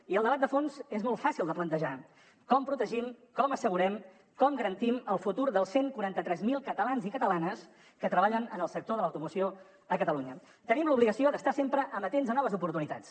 i el debat de fons és molt fàcil de plantejar com protegim com assegurem com garantim el futur dels cent i quaranta tres mil catalans i catalanes que treballen en el sector de l’automoció a catalunya tenim l’obligació d’estar sempre amatents a noves oportunitats